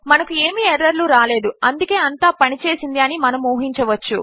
మనకు ఏమీ ఎర్రర్ లు రాలేదు అందుకే అంతా పని చేసింది అని మనము ఊహించవచ్చు